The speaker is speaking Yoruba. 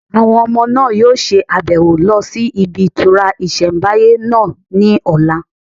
Àwọn ọmọ náà yóò ṣe àbẹ̀wò lọ sí ibi ìtura ìsẹ̀mbáyé náà ní ọ̀la